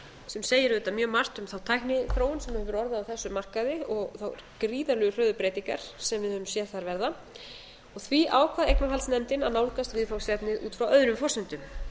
sem segir auðvitað mjög margt um þá tækniþróun sem hefur orðið á þessum markaði og þær gríðarlega hröðu breytingar sem við höfum séð þar verða því ákvað eignarhaldsnefndin að nálgast viðfangsefnið út frá öðrum forsendum